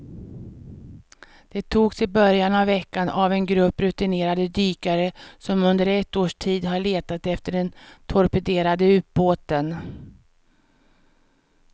De togs i början av veckan av en grupp rutinerade dykare som under ett års tid har letat efter den torpederade ubåten.